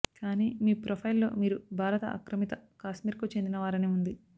కానీ మీ ప్రొఫైల్లో మీరు భారత ఆక్రమిత కాశ్మీర్కు చెందిన వారని ఉంది